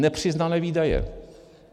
Nepřiznané výdaje.